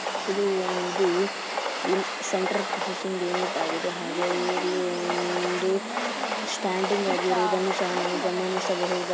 ಇದು ಒಂದು central processing unit ಆಗಿದೆ ಹಾಗೆ ಇಲ್ಲಿ ಒಂದು ಸ್ಟ್ಯಾಂಡಿಂಗ್ ಆಗಿರುವುದನ್ನು ಸಹ ನಾವು ಗಮನಿಸಬಹುದ--